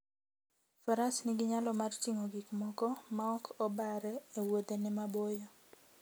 Faras nigi nyalo mar ting'o gik moko maok obare e wuodhene maboyo.